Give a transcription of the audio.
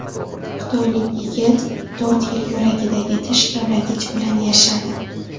Xitoylik yigit to‘rt yil yuragidagi tish kavlagich bilan yashadi.